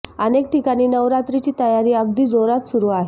अनेक ठिकाणी नवरात्राची तयारी अगदी जोरात सुरू आहे